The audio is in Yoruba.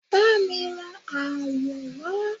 ba mi ra awọ wa